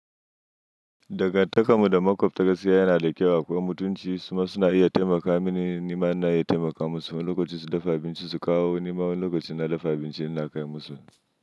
Dagantakar mu da makwabta gaskiya yana da kyau akwai mutunci su ma suna iya taimaka mini, ni ma ina iya taimakawa musu wani lokacin su dafa abinci su kawo ni ma wani lokaci ina dafa abinci ina kai musu.